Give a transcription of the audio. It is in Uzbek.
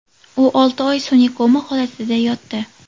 U olti oy sun’iy koma holatida yotdi.